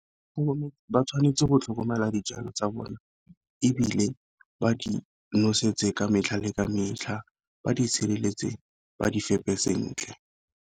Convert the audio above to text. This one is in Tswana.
Ba tshwanetse go tlhokomela dijalo tsa bone, ebile ba di nosetsa ka metlha le ka metlha ba di sireletse ba di fepe sentle.